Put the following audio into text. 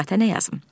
Lüğətə nə yazım?